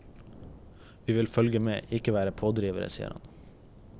Vi vil følge med, ikke være pådrivere, sier han.